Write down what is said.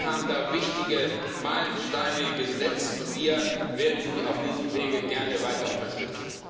Sie haben da wichtige Meilensteine gesetzt, und wir werden Sie auf diesem Wege gerne weiter unterstützen.